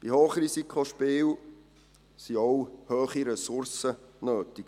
Bei Hochrisikospielen ist auch ein hoher Ressourceneinsatz nötig.